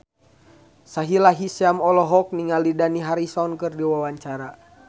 Sahila Hisyam olohok ningali Dani Harrison keur diwawancara